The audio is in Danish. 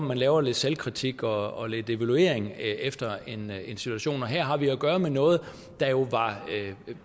man laver lidt selvkritik og evaluering efter en situation her har vi at gøre med noget der jo var